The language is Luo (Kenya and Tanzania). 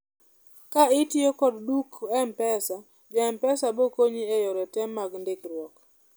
ka itiyo kod duk mpesa ja mpesa bokonyi e yore te mag ndikruok